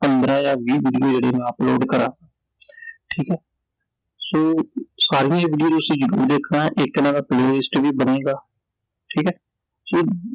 ਪੰਦਰਾਂ ਜਾਂ ਵੀਹ video ਜਿਹੜੀ ਮੈਂ upload ਕਰਾਂ ਠੀਕ ਐ so ਸਾਰੀਆਂ ਹੀ ਵੀਡੀਓ ਨੂੰ ਤੁਸੀਂ ਜ਼ਰੂਰ ਦੇਖਣਾ ਇਕ ਇਹਨਾਂ ਦਾ Playlist ਵੀ ਬਣੇਗਾ, ਠੀਕ ਐI ਜੇ